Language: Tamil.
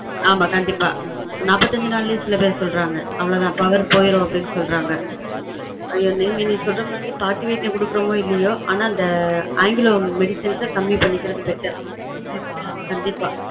ஆமா கண்டீப்பா நாற்பத்தைந்து நாளே சில பேர் சொல்றாங்க அவ்வளவு தான் power போயிடும் நீ சொல்ற மாதிரி பாட்டி வைத்தியம் குடுக்குறமோ இல்லயொ ஆனா இந்த ஆங்கிலொ medicines கம்மி பண்ணிக்கிறது better கண்டீப்பா